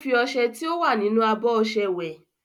Ó ń fi ọṣẹ tí ó wà nínú abọ́ ọṣẹ wẹ̀.